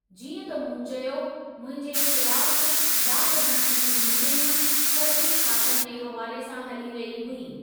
जीअं त मूं चयो, मुंहिंजे ख़िलाफ़ु दाग़ हणण जी मुहिम फर्ज़ी खातनि जे हवाले सां हली रही हुई।